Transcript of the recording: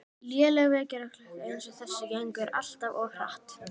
Léleg vekjaraklukka eins og þessi gengur alltaf of hratt